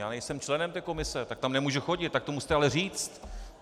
Já nejsem členem té komise, tak tam nemůžu chodit, tak to musíte ale říci.